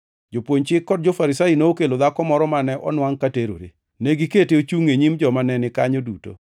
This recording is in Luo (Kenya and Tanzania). Jopuonj Chik kod jo-Farisai nokelo dhako moro mane onwangʼ ka terore. Negikete ochungʼ e nyim joma ne ni kanyo duto,